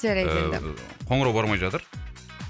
жарайды енді қоңырау бармай жатыр